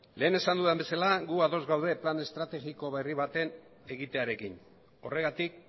lehen esan dudan bezala gu ados gaude plan estrategiko berri baten egitearekin horregatik